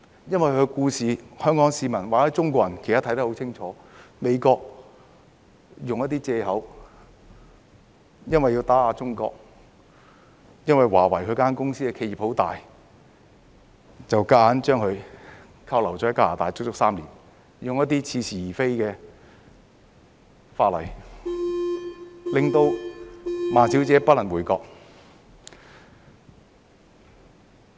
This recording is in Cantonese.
因為她的故事，香港市民或中國人其實都看得很清楚，就是美國用一些藉口，因為要打壓中國，因為華為這家企業很大，便硬把她扣留在加拿大足足3年，用一些似是而非的法例，令孟女士不能回國。